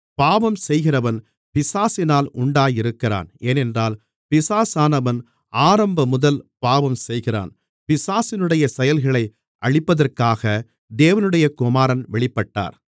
பாவம் செய்கிறவன் பிசாசினால் உண்டாயிருக்கிறான் ஏனென்றால் பிசாசானவன் ஆரம்பமுதல் பாவம் செய்கிறான் பிசாசினுடைய செயல்களை அழிப்பதற்காக தேவனுடைய குமாரன் வெளிப்பட்டார்